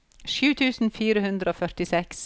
sju tusen fire hundre og førtiseks